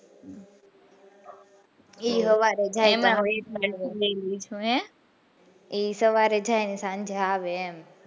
એ સવારે જાય એ સવારે જાય ને સાંજે આવે એમ,